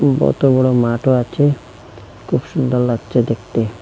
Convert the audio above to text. বতো বড় মাঠও আচে খুব সুন্দর লাগচে দেখতে।